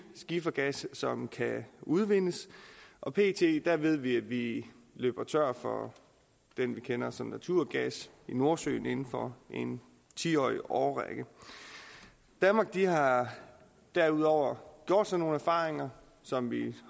skifergas som kan udvindes og pt ved vi at vi løber tør for det vi kender som naturgas i nordsøen inden for en ti årig årrække danmark har derudover gjort sig nogle erfaringer som vi